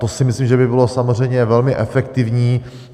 To si myslím, že by bylo samozřejmě velmi efektivní.